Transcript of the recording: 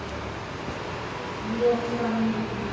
Ég dæmi engan.